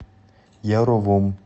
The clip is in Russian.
яровом